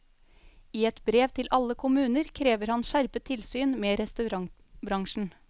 I et brev til alle kommuner krever han skjerpet tilsyn med restaurantbransjen.